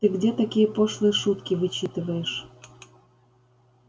ты где такие пошлые шутки вычитываешь